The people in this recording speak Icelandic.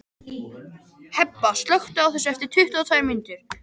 Hebba, slökktu á þessu eftir tuttugu og tvær mínútur.